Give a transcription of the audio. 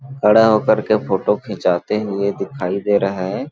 खड़ा होकर के फोटो खिचाते हुए दिखाई दे रहा है।